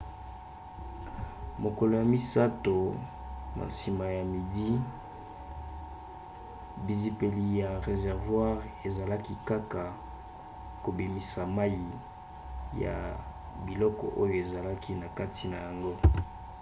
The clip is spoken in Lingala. mokolo ya misato na nsima ya midi bizipeli ya réservoir ezalaki kaka kobimisa mai ya biloko oyo ezalaki na kati na yango